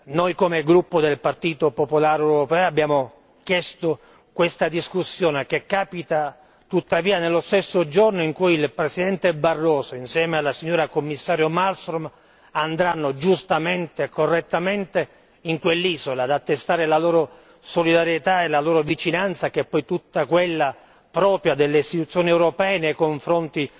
Noi come gruppo del Partito popolare europeo abbiamo chiesto questa discussione che capita tuttavia nello stesso giorno in cui il Presidente Barroso, insieme alla signora Commissario Malmström, andranno giustamente e correttamente in quell'isola, ad attestare la loro solidarietà e la loro vicinanza che è poi tutta quella propria delle Istituzioni europee nei confronti